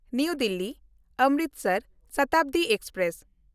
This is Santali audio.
ᱱᱟᱣᱟ ᱫᱤᱞᱞᱤ–ᱚᱢᱨᱤᱥᱚᱨ ᱥᱚᱛᱟᱵᱫᱤ ᱮᱠᱥᱯᱨᱮᱥ